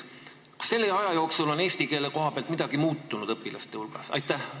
Kas selle aja jooksul on eesti keele koha pealt midagi muutunud õpilaste hulgas?